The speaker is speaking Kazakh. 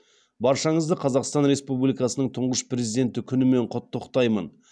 баршаңызды қазақстан республикасының тұңғыш президенті күнімен құттықтаймын